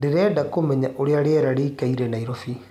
ndĩrenda kumenya ũrĩa rĩera rĩĩkaĩre naĩrobĩ